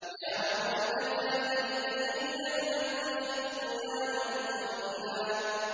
يَا وَيْلَتَىٰ لَيْتَنِي لَمْ أَتَّخِذْ فُلَانًا خَلِيلًا